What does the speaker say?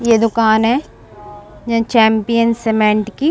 ये दुकान है चैंपियन सीमेंट की।